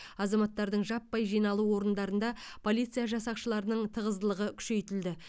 азаматтардың жаппай жиналу орындарында полиция жасақшыларының тығыздылығы күшейтілді